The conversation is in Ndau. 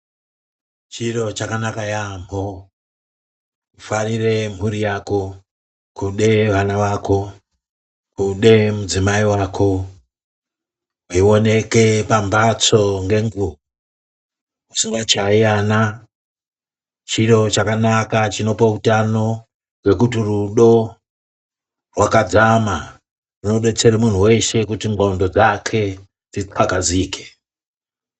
Chiro chakanaka yaambo kufarire mburi yako, kude vana vako, kude mudzimai wako, weioneke pambatsoo ngenguva, usingatyayi ana, chiro chakanaka chinopa utano ngokuti rudo rwakadzama hunodetsera muntu weshe kuti nxondo dzake dzitsakazike.